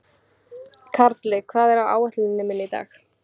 Karli, hvað er á áætluninni minni í dag?